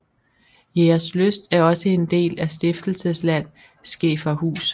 Jægerslyst er også en del af Stiftelsesland Skæferhus